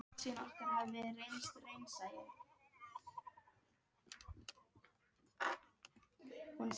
Hann spurði reiðilega hvað væri búið að ganga á.